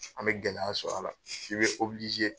An bɛ gɛlɛya sɔrɔ a la i bɛ